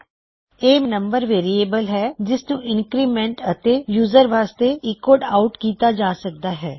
ਇਹ ਮੇਰਾ number variable ਹੈ ਜਿਸਨੂੰ ਇੰਨਕਰੀਮੈਨਟ ਅਤੇ ਯੂਜ਼ਰ ਵਾਸਤੇ ਐੱਕੋਡ ਆਉਟ ਕੀਤਾ ਜਾ ਸਕਦਾ ਹੈ